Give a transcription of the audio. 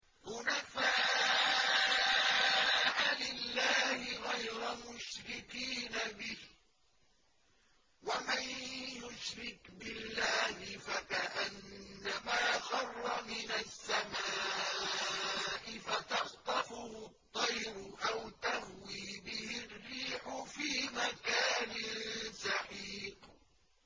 حُنَفَاءَ لِلَّهِ غَيْرَ مُشْرِكِينَ بِهِ ۚ وَمَن يُشْرِكْ بِاللَّهِ فَكَأَنَّمَا خَرَّ مِنَ السَّمَاءِ فَتَخْطَفُهُ الطَّيْرُ أَوْ تَهْوِي بِهِ الرِّيحُ فِي مَكَانٍ سَحِيقٍ